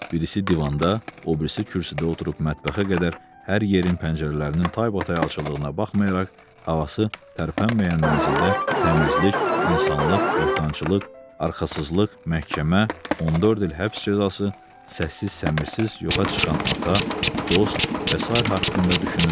Birisi divanda, o birisi kürsüdə oturub mətbəxə qədər hər yerin pəncərələrinin taybatay açıldığına baxmayaraq, havası tərpənməyən mənzildə təmizlik, insanlıq, böhtançılıq, arxasızlıq, məhkəmə, 14 il həbs cəzası, səssiz-səmirsiz yoxa çıxan ata, dost və sair haqqında düşünürdülər.